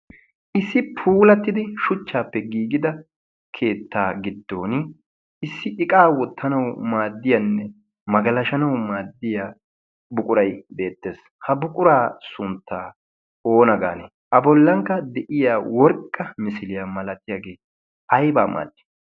issi puulattidi shuchchaappe giigida keettaa giddon issi iqaa wottanawu maaddiyaanne magalashanau maaddiya buquray beettees ha buquraa sunttaa oona gaane a bollankka de'iya worqqa misiliyaa malatiyaagee aybaa maaddi